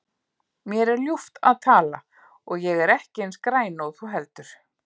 Mér er ljúft að tala og ég er ekki eins græn og þú heldur.